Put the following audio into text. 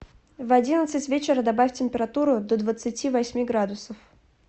в одиннадцать вечера добавь температуру до двадцати восьми градусов